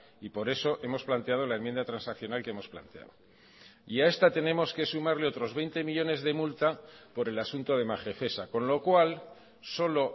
y por eso hemos planteado la enmienda transaccional que hemos planteado y a esta tenemos que sumarle otros veinte millónes de multa por el asunto de magefesa con lo cual solo